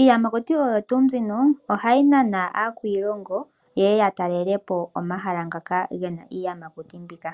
iiyamakuti oyo tuu mbino ohayi nana aakwiilongo ye ya talele po omahala ngaka gena iiyamakuti mbika.